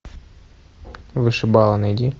вышибалы найди